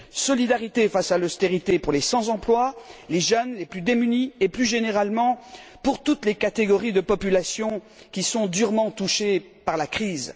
Solidarité face à l'austérité pour les sans emploi, les jeunes, les plus démunis et, plus généralement, pour toutes les catégories de population qui sont durement touchées par la crise.